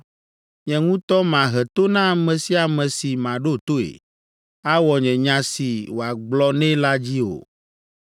Nye ŋutɔ mahe to na ame sia ame si maɖo toe, awɔ nye nya si wòagblɔ nɛ la dzi o.